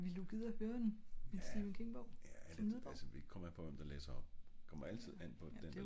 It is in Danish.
ja ja altså det kommer an på hvem der læser op